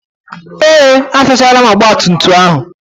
Ee, asachaala ọgbatumtum ahụ.